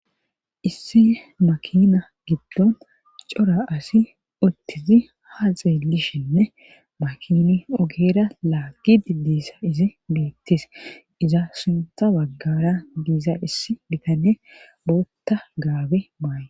Issi makina giddon cora asi uttizi ha xeelishenne makini ogera laagi diddissa izi beettis iza sintha waggara diiza issi bitanne bootta gaabe maayi.